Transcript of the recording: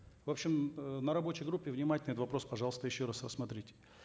в общем э на рабочей группе внимательно этот вопрос пожалуйста еще раз рассмотрите